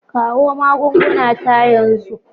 Kawo magunguna ta yanzu.